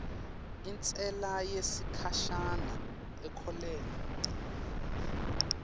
intsela yesikhashana inkhokhela